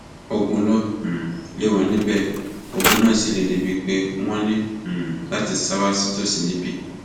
ogun ló um lé wọn níbẹ ogun náà sì le débií pé wọn ní um láti sá wá sí tòsí níbí